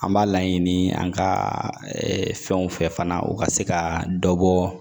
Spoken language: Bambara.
An b'a laɲini an ka fɛnw fɛ fana u ka se ka dɔ bɔ